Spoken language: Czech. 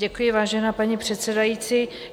Děkuji, vážená paní předsedající.